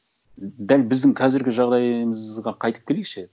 дәл біздің қазіргі жағдайымызға қайтып келейікші